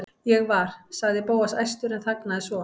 Ég var.- sagði Bóas æstur en þagnaði svo.